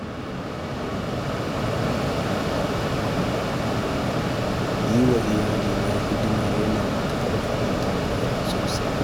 Yi wa iyalaina hidima yana matuƙar faranta min rai sosai